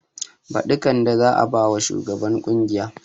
Baɗi kande za a bama shugan ƙungiya